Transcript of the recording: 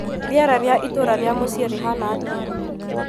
Rĩera rĩa itũũra rĩa mucii rĩhana atĩa?